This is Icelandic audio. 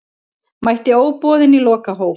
Mætti óboðinn í lokahóf